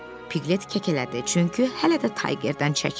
Piqlet kəkələdi, çünki hələ də Taygerdən çəkinirdi.